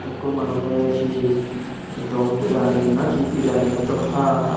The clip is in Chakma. ekko manujey he dom birani na he birani hoito haa haar.